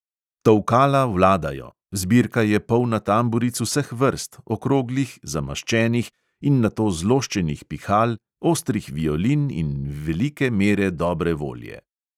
Tolkala vladajo, zbirka je polna tamburic vseh vrst, okroglih, zamaščenih in nato zloščenih pihal, ostrih violin in velike mere dobre volje.